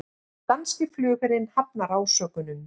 Danski flugherinn hafnar ásökunum